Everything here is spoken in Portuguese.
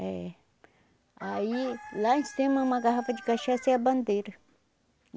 É. Aí, lá em cima, uma garrafa de cachaça e a bandeira.